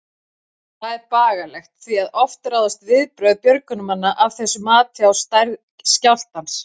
Það er bagalegt, því að oft ráðast viðbrögð björgunarmanna af þessu mati á stærð skjálftans.